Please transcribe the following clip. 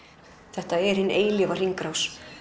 þetta er hin eilífa hringrás